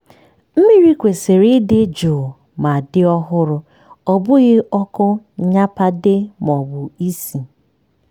mmiri kwesịrị ịdị jụụ ma dị ọhụrụ-ọ bụghị ọkụ nnyapade maọbụ isi.